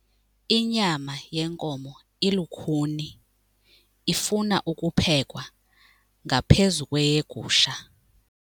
Inyama yenkomo ilukhuni ifuna ukuphekwa ngaphezu kweyegusha.